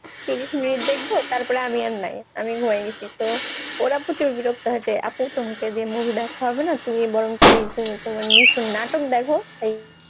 তিরিশ minute দেখবো তারপরে আমি আর নাই আমি ঘুমিয়ে গেছি তো ওরা প্রচুর বিরক্ত হয়েছে আপু তোমাকে দিয়ে movie দেখা হবে না তুমি বরং তুমি তুমি তোমার নিশান নাটক দেখো এই